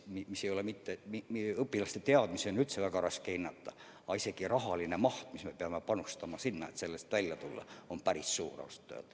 Meie õpilaste teadmisi on väga raske hinnata, aga raha maht, mis me peame panustama, et sellest välja tulla, on ausalt öeldes päris suur.